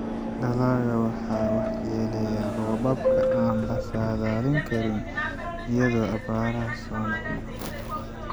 Dalagga waxaa waxyeelleeyay roobabka aan la saadaalin karin iyo abaaraha soo noqnoqda.